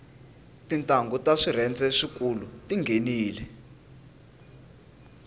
tintnghu ta swirhende swikulu tinghenile